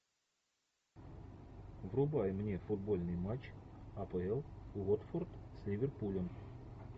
врубай мне футбольный матч апл уотфорд с ливерпулем